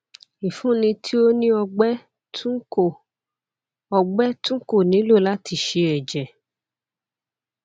ifunni ti o ni ọgbẹ tun ko ọgbẹ tun ko nilo lati ṣe ẹjẹ